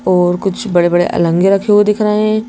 और कुछ बड़े-बड़े अलंगे रखे हुए दिख रहे हैं।